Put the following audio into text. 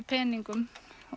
peningum